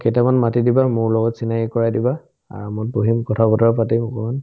কেইটামান মাতি দিবা মোৰ লগত চিনাকি কৰাই দিবা আৰামত বহিম কথা-বতৰা পাতিম অকমান